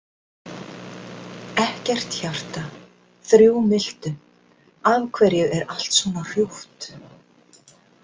Ekkert hjarta, þrjú miltu, af hverju er allt svona hrjúft?